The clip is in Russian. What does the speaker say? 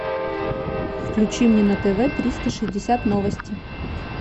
включи мне на тв триста шестьдесят новости